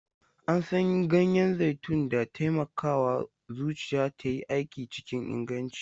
An san ganyen zaitun da taimakawa zuciya ta yi aiki cikin inganci.